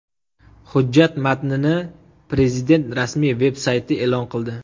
Hujjat matnini Prezident rasmiy veb-sayti e’lon qildi .